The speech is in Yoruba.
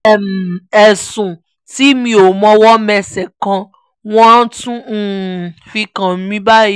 um ẹ̀sùn tí mi ò mọwọ́ mẹsẹ̀ kan ni wọ́n tún um fi kàn mí báyìí